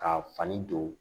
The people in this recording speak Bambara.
K'a fani don